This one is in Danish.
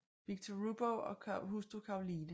Viktor Rubow og hustru Caroline f